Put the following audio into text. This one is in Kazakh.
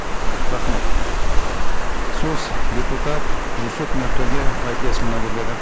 рахмет сөз депутат жүсіп нұртөре байтілесұлына беріледі